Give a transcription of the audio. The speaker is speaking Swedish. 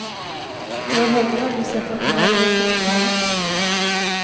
Jag har heller aldrig sett att de har gjort det på scenen.